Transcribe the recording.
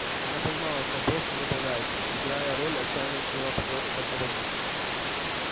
она понимала что он просто забавляется играя роль отчаянно смелого патриота-контрабандиста